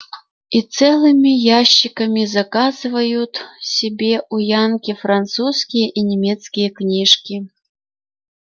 и целыми ящиками заказывают себе у янки французские и немецкие книжки